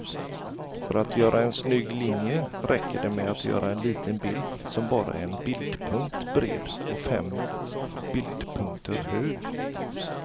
För att göra en snygg linje räcker det med att göra en liten bild som bara är en bildpunkt bred och fem bildpunkter hög.